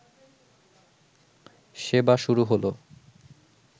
সেবা শুরু হলো